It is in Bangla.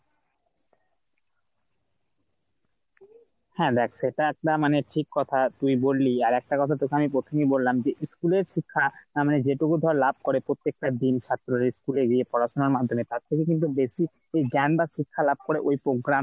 হ্যাঁ দেখ সেটা একটা মানে ঠিক কথা তুই বললি। আরেকটা কথা তোকে আমি প্রথমেই বললাম যে school এর শিক্ষা মানে যেটুকু ধরে লাভ করে প্রত্যেক টা দিন ছাত্র রা school এগিয়ে পড়াশোনার মাধ্যমে তার থেকে কিন্তু বেশি জ্ঞানদার শিক্ষা লাভ করে ওই program